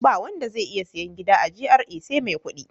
Ba wanda zai iya sayen gida a GRA sai mai kuɗi.